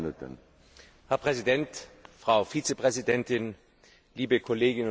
Herr Präsident, Frau Vizepräsidentin, liebe Kolleginnen und Kollegen!